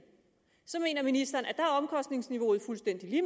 så mener ministeren at er omkostningsniveauet fuldstændig